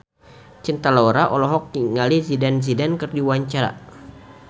Cinta Laura olohok ningali Zidane Zidane keur diwawancara